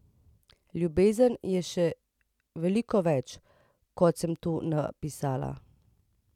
Ljubezen je še veliko več, kot sem tu napisala.